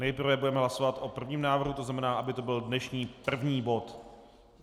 Nejprve budeme hlasovat o prvním návrhu, to znamená, aby to byl dnešní první bod.